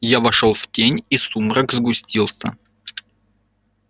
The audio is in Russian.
я вошёл в тень и сумрак сгустился